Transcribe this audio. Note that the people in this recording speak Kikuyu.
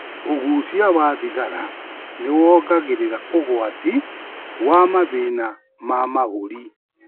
ũgucia wa thigara nĩwongagĩrĩra ũgwati wa mathĩna ma mahũri